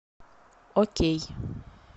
окей